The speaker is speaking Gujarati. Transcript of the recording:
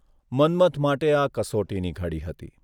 મન્મથ માટે આ કસોટીની ઘડી હતી.